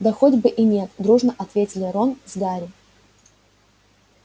да хоть бы и нет дружно ответили рон с гарри